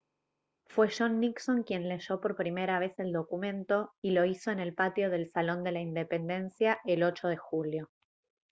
fue john nixon quien leyó por primera vez el documento y lo hizo en el patio del salón de la independencia el 8 de julio